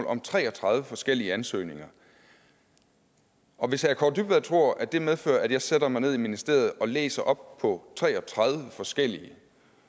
om tre og tredive forskellige ansøgninger og hvis herre kaare dybvad tror at det medfører at jeg sætter mig ned i ministeriet og læser op på tre og tredive forskellige